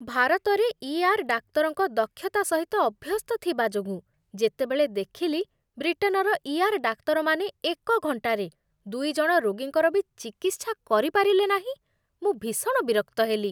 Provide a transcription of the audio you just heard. ଭାରତରେ ଇଆର୍ ଡାକ୍ତରଙ୍କ ଦକ୍ଷତା ସହିତ ଅଭ୍ୟସ୍ତ ଥିବା ଯୋଗୁଁ, ଯେତେବେଳେ ଦେଖିଲି ବ୍ରିଟେନର ଇଆର୍ ଡାକ୍ତରମାନେ ଏକ ଘଣ୍ଟାରେ ଦୁଇ ଜଣ ରୋଗୀଙ୍କର ବି ଚିକିତ୍ସା କରିପାରିଲେ ନାହିଁ, ମୁଁ ଭୀଷଣ ବିରକ୍ତ ହେଲି।